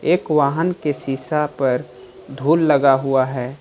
एक वाहन के शीशा पर धूल लगा हुआ है।